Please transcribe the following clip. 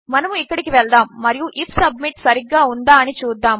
మనముఇక్కడికివెళ్దాముమరియు IF submit సరిగ్గాఉందాఅనిచూద్దాము